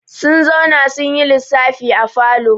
Sun zauna sun yi lissafi a falo.